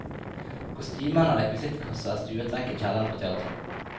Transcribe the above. Kostymene og rekvisittkassa er stuet vekk i kjelleren på teatret.